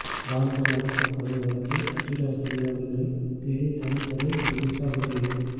வாலிபர் அடித்து கொலை வழக்கில் கட்டிட தொழிலாளிகளை தேடி தனிப்படை ஒடிசா விரைவு